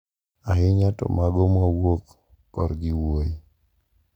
Ahinya to mago mawuok korgi wuoyi.